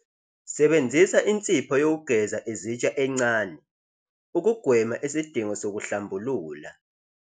Sebenzisa insipho yokugeza izitsha encane, ukugwema isidingo sokuhlambulula.